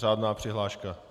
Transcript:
Řádná přihláška.